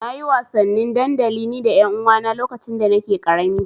Na yi wasannin dandali ni da ƴanuwana lokacin da nake ƙarami.